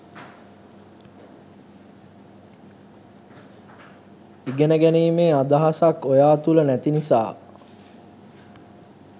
ඉගෙන ගැනීමේ අදහසක් ඔයා තුල නැති නිසා